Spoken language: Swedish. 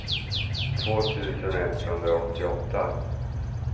två tusen etthundraåttioåtta